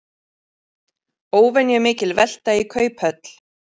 Óvenjumikil velta í Kauphöll